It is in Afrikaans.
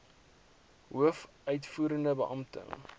hoof uitvoerende beampte